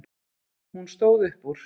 Hún stóð upp úr.